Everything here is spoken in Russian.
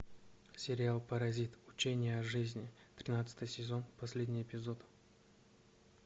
сериал паразит учения о жизни тринадцатый сезон последний эпизод